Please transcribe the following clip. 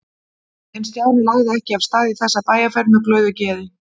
En Stjáni lagði ekki af stað í þessa bæjarferð með glöðu geði.